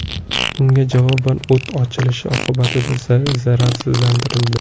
Unga javoban o‘t ochilishi oqibatida zararsizlantirildi.